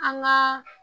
An ŋaa